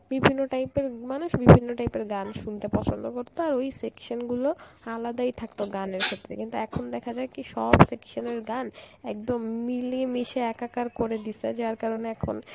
বিভিন্ন type এর মানুষ বিভিন্ন type এর গান শুনতে পছন্দ করত আর ওই section গুলো আলাদাই থাকতো গানের ক্ষেত্রে কিন্তু এখন দেখা যায় কি সব section এর গান একদম মিলিয়ে মিশিয়ে একাকার করে দিসে যার কারণে এখন